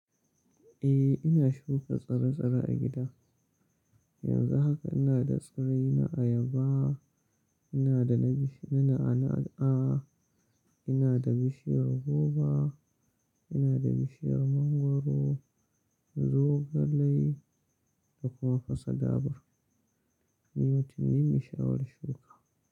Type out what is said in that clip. Eh, ina shuka tsire-tsire a gida. Yanzu haka ina da tsirrai na ayaba, ina da na na'a-na'a, ina da bishiyar goba, ina da bishiyar mangwaro, zogalai da kuma fasa dabur. Ni mutum ne mai sha'awar shuka.